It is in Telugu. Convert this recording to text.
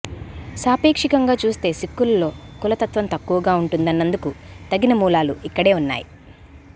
సాపేక్షికంగా చూస్తే సిక్కులలో కులతత్వం తక్కువగా ఉంటున్నందుకు తగిన మూలాలు ఇక్కడే ఉన్నాయి